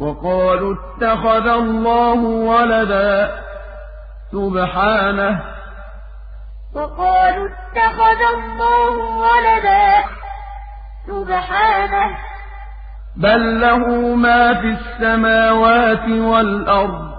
وَقَالُوا اتَّخَذَ اللَّهُ وَلَدًا ۗ سُبْحَانَهُ ۖ بَل لَّهُ مَا فِي السَّمَاوَاتِ وَالْأَرْضِ ۖ